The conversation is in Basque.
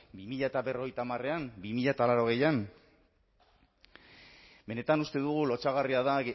bi mila berrogeita hamarrean bi mila laurogeian benetan uste dugu lotsagarria dela